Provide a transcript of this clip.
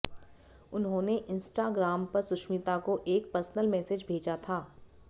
उन्होंने इंस्टाग्राम पर सुष्मिता को एक पर्सनल मैसेज भेजा था